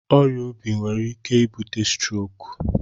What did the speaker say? Ọrịa obi nwere ike ibute strok.